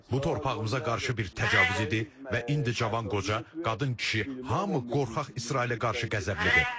Bu torpağımıza qarşı bir təcavüz idi və indi cavan qoca, qadın, kişi, hamı qorxaq İsrailə qarşı qəzəblidir.